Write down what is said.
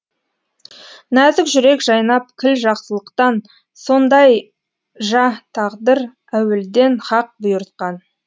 нәзік жүрек жайнап кіл жақсылықтан сондай тағдыр әуелден һақ бұйыртқан